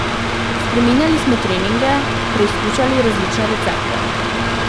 Spreminjali smo treninge, preizkušali različne recepte ...